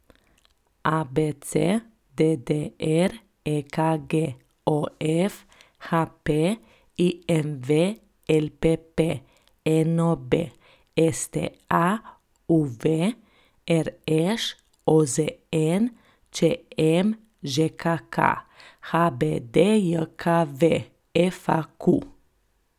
ABC, DDR, EKG, OF, HP, IMV, LPP, NOB, STA, UV, RŠ, OZN, ČM, ŽKK, HBDJKV, FAQ.